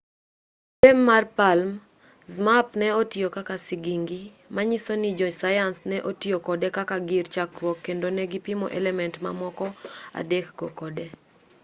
e tem mar palm zmapp ne otiyo kaka sigingi manyiso ni jo sayans ne otiyo kode kaka gir chakruok kendo ne gipimo element mamoko adek go kode